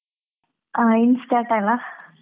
ಹಾ in start ಅಲ್ಲಾ.